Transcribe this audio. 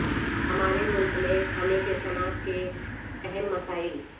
ہمارے ملک میں کھانے کی صنعت کے اہم مسائل